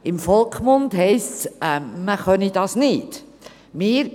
Im Volksmund heisst es, man könne dies nicht tun.